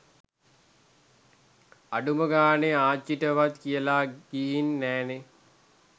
අඩුම ගාණෙ ආච්චිටවත් කියල ගීහින් නෑනෙ.